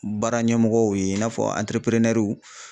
Baara ɲɛmɔgɔw ye i n'a fɔ antereperenɛruw